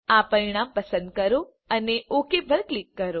આ પરિણામ પસંદ કરો અને ઓક પર ક્લિક કરો